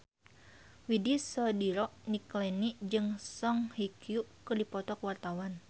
Widy Soediro Nichlany jeung Song Hye Kyo keur dipoto ku wartawan